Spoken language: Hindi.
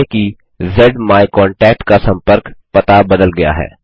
मानिए कि ज्माइकॉन्टैक्ट का सम्पर्क पता बदल गया है